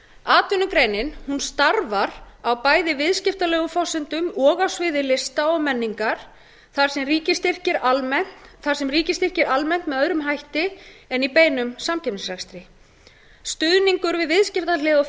atvinnugreinin starfar á bæði viðskiptalegum forsendum og á sviði lista og menningar þar sem ríkisstyrkir eru almennt með öðrum hætti en í beinum samkeppnisrekstri stuðningur við viðskiptahlið og